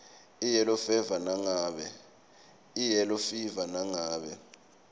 iyellow fever nangabe